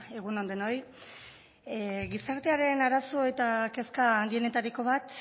egun on denoi gizartearen arazo eta kezka handienetariko bat